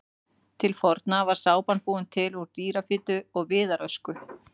Til forna var sápan búin til úr dýrafitu og viðarösku.